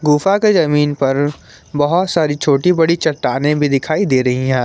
गुफा के जमीन पर बहोत सारी छोटे बड़ी चट्टानें भी दिखाई दे रही हैं।